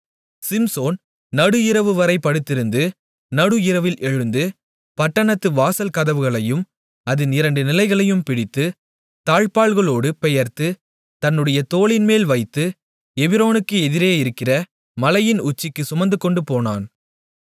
சிம்சோன் நடுஇரவுவரை படுத்திருந்து நடு இரவில் எழுந்து பட்டணத்து வாசல் கதவுகளையும் அதின் இரண்டு நிலைகளையும் பிடித்து தாழ்ப்பாளோடுப் பெயர்த்து தன்னுடைய தோளின்மேல் வைத்து எபிரோனுக்கு எதிரேயிருக்கிற மலையின் உச்சிக்குச் சுமந்துகொண்டுபோனான்